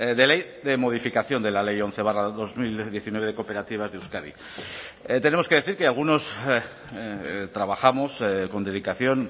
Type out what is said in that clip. de ley de modificación de la ley once barra dos mil diecinueve de cooperativas de euskadi tenemos que decir que algunos trabajamos con dedicación